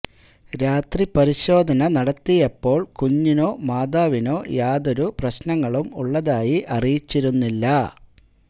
രാത്രി പരിശോധന നടത്തിയപ്പോള് കുഞ്ഞിനോ മാതാവിനോ യാതൊരു പ്രശ്നങ്ങളും ഉള്ളതായി അറിയിച്ചിരുന്നില്ല